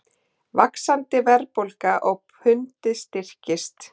Vaxandi verðbólga og pundið styrkist